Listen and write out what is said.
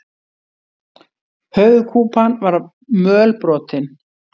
Höfuðkúpan var mölbrotin.